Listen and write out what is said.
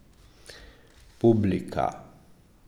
Publika?